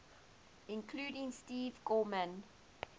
including steve gorman